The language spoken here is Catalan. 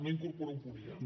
no incorpora un punt i